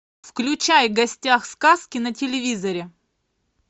включай в гостях у сказки на телевизоре